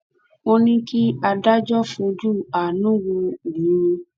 ó ní kí adájọ fojú àánú wo òun